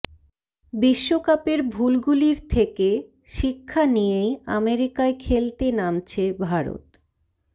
বিশ্বকাপের ভুলগুলির থেকে শিক্ষা নিয়েই আমেরিকায় খেলতে নামছে ভারত